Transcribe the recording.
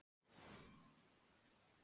Ekki bara orð í bók.